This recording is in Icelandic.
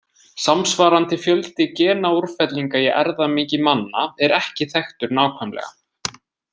Samsvarandi fjöldi genaúrfellinga í erfðamengi manna er ekki þekktur nákvæmlega.